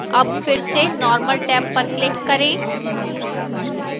tab फिर से normal tab पर click करें